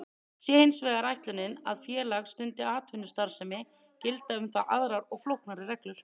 Sé hins vegar ætlunin að félag stundi atvinnustarfsemi gilda um það aðrar og flóknari reglur.